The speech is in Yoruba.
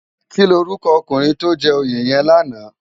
Kilórúkò ókúnrin tó jè óyé yèn làná?